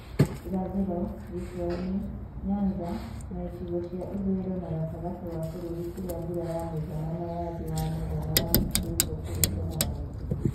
Irathĩro, gĩcua-inĩ, Nyanza, na icigo cia ithũĩro na gatagati wa bũrũri kũrĩa mbura ya mũigana na ya thĩ wa mũigana yamũkĩrĩtwo kũringana na gĩcigo